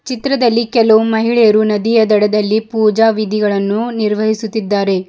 ಚಿತ್ರದಲ್ಲಿ ಕೆಲವು ಮಹಿಳೆಯರು ನದಿಯ ದಡದಲ್ಲಿ ಪೂಜಾ ವಿಧಿಗಳನ್ನು ನಿರ್ವಹಿಸುತ್ತಿದ್ದಾರೆ.